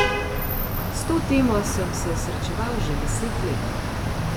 S to temo sem se srečeval že deset let.